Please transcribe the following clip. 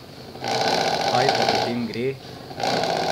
Kaj pa potem gre?